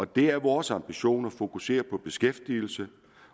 det er vores ambition at fokusere på beskæftigelse